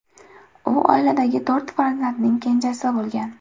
U oiladagi to‘rt farzandning kenjasi bo‘lgan.